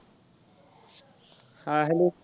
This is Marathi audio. हां hello